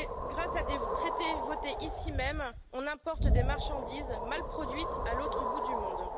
Grâce à des traités votés ici même, on importe des marchandises mal produites à l'autre bout du monde.